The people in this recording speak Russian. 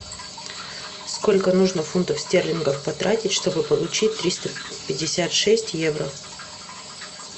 сколько нужно фунтов стерлингов потратить чтобы получить триста пятьдесят шесть евро